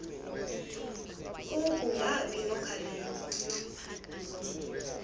ku kungabi nokhalipho